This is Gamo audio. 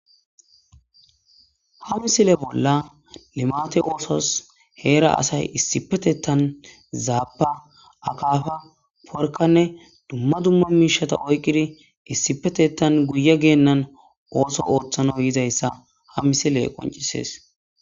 Ha misile bolla limate oosos heera asay issipetetan zaapa akaafa porkanne dumma dumma miishata oyqidi issipetetan guye geennan ooso ooththano yizayssa ha misile qoncisees